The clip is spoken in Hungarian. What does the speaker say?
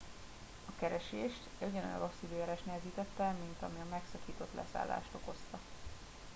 a keresést ugyanolyan rossz időjárás nehezítette mint ami a megszakított leszállást okozta